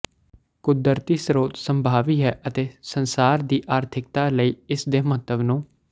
ਕੁਦਰਤੀ ਸਰੋਤ ਸੰਭਾਵੀ ਹੈ ਅਤੇ ਸੰਸਾਰ ਦੀ ਆਰਥਿਕਤਾ ਲਈ ਇਸ ਦੇ ਮਹੱਤਵ ਨੂੰ